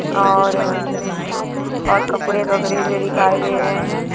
और उम्म और कपड़े बदरे हुए दिखाई दे रहे हैं।